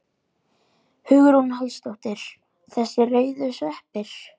Hugrún Halldórsdóttir: Þessir rauðu sveppir?